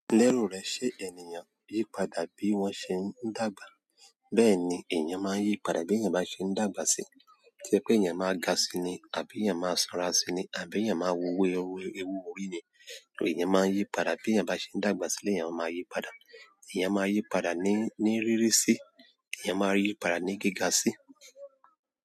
Lérò rẹ ṣé ènìyàn yípadà bí wọ́n ṣé ń dàgbà. Bẹ́ẹ̀ni èèyàn máa ń yípadà bí èèyàn bá ṣe ń dàgbà sí. To je pé èèyàn máa ga síi ni àbí èèyàn máa sanra síi ni àbí èèyàn máa wú ewu orí ní. Èèyàn máa ń yípadà bí èèyàn bi ṣe ń dàgbà si lèèyàn máa ma yípadà. Èèyàn máa yípadà ní, ní rírí sí. Èèyàn máa yípadà ní gíga sí.